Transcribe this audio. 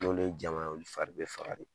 N'olu ye jama ye, olu fari bɛ faga de.